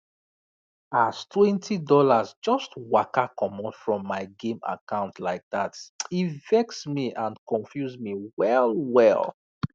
as twenty dollars just waka comot from my game account like that e vex me and confuse me wellwell